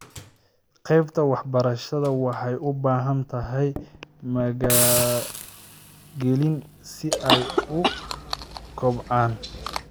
Qaybta waxbarashadu waxay u baahan tahay maalgelin si ay u kobcaan.